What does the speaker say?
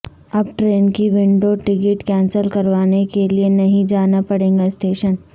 اب ٹرین کی window ticket cancel کروانے کے لئے نہیں جانا پڑے گا اسٹیشن